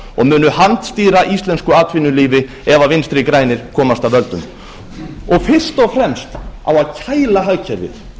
og handstýra íslensku atvinnulífi ef vinstri grænir komast að völdum fyrst og fremst á að kæla hagkerfið